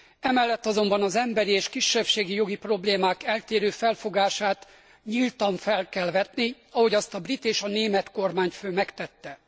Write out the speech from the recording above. Emellett azonban az emberi és kisebbségi jogi problémák eltérő felfogását nyíltan fel kell vetni, ahogy azt a brit és a német kormányfő megtette.